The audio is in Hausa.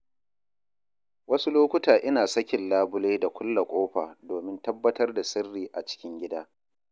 Wasu lokuta ina sakin labule da kulle ƙofa domin tabbatar da sirri a cikin gida.